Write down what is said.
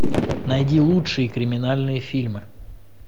найди лучшие криминальные фильмы